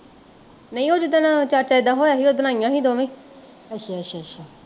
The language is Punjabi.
ਨਹੀਂ ਉਹ ਜਿਦਨ ਚਾਚਾ ਜੀ ਦਾ ਹੋਇਆ ਸੀ ਉਸ ਦਿਨ ਆਈਆ ਸੀ ਦੋਵੇ